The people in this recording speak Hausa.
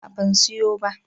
A'a ban siyo ba